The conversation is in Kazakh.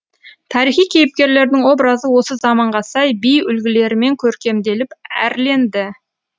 тарихи кейіпкерлердің образы осы заманға сай би үлгілерімен көркемделіп әрленді